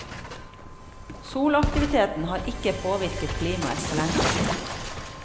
Solaktiviteten har ikke påvirket klimaet på lengre sikt.